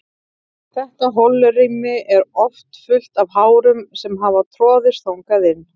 Þetta holrými er oft fullt af hárum sem hafa troðist þangað inn.